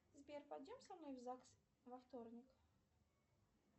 сбер пойдем со мной в загс во вторник